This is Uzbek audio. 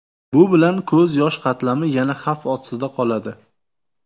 Bu bilan ko‘z yosh qatlami yana xavf ostida qoladi.